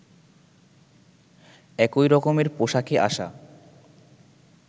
একই রকমের পোশাকে আসা